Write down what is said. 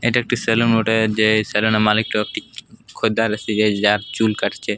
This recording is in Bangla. এইটা একটা সেলুন বটে। যে সেলুন -এর মালিকটো খরিদ্দার যার চুল কাটছে।